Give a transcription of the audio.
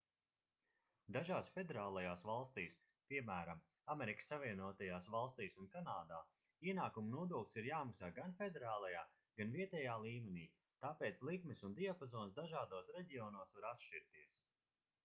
dažās federālajās valstīs piemēram amerikas savienotajās valstīs un kanādā ienākumu nodoklis ir jāmaksā gan federālajā gan vietējā līmenī tāpēc likmes un diapazons dažādos reģionos var atšķirties